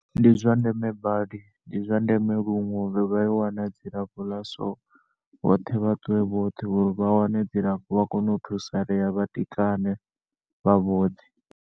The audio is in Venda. Ndi zwa ndeme badi ndi zwa ndeme lunwe uri vhayo wana dzilafho ḽa so vhoṱhe vhaṱuwe vhoṱhe uri vhawane dzilafho vhakone u thusalea vhatikane vha vhoṱhe.